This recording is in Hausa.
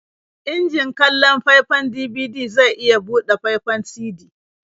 Injin kallon faifan DVD zai iya buɗe faifan CD.